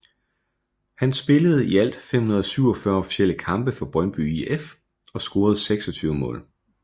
Han spillede i alt 547 officielle kampe for Brøndby IF og scorede 26 mål